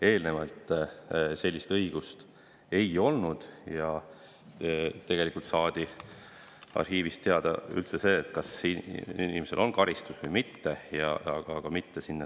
Eelnevalt sellist õigust ei olnud, sinna sisse ei nähtud, ja tegelikult saadi arhiivist teada üldse see, kas inimesele on määratud karistus või mitte.